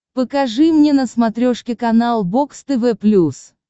покажи мне на смотрешке канал бокс тв плюс